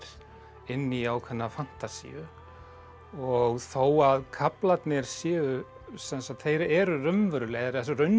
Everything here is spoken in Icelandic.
inn í ákveðna fantasíu og þó að kaflarnir séu sem sagt þeir eru raunverulegir eða